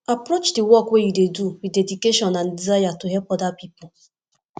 approach di work wey you dey do with dedication and desire to help oda pipo